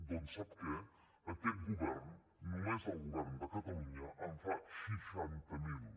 doncs sap què aquest govern només el govern de catalunya en fa seixanta miler